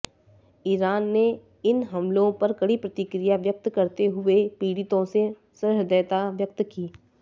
Iran ने इन हमलों पर कड़ी प्रतिक्रिया व्यक्त करते हुए पीड़ितों से सहृदयता व्यक्त की